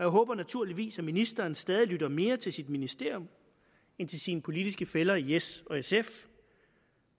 håber naturligvis at ministeren stadig lytter mere til sit ministerium end til sine politiske fæller i s og sf